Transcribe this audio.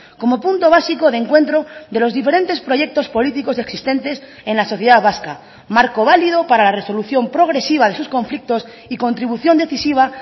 como punto básico de encuentro de los diferentes proyectos políticos existentes en la sociedad vasca marco válido para la resolución progresiva de sus conflictos y contribución decisiva